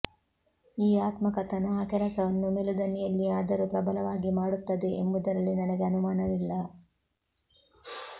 ಈ ಆತ್ಮಕಥನ ಆ ಕೆಲಸವನ್ನು ಮೆಲುದನಿಯಲ್ಲಿಯೇ ಆದರೂ ಪ್ರಬಲವಾಗಿ ಮಾಡುತ್ತದೆ ಎಂಬುದರಲ್ಲಿ ನನಗೆ ಅನುಮಾನವಿಲ್ಲ